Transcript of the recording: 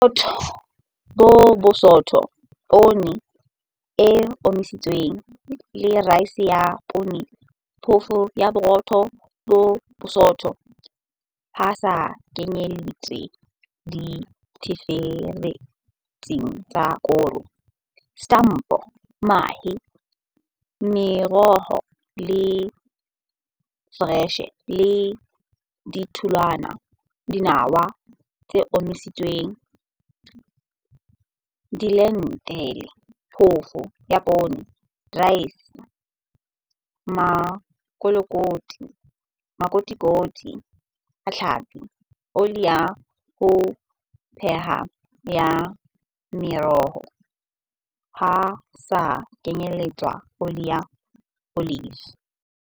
Borotho bo bosootho, poone e omisitsweng le raese ya poone. Phoofo ya borotho bo bosootho ho sa kenyeletswe ditlheferetsi tsa koro Setampo Mahe Meroho e foreshe le ditholwana Dinawa tse omisitsweng Dilentile Phofo ya papa Raese Makotikoti a tlhapi Oli ya ho pheha ya meroho, ho sa kenyeletswe oli ya olive.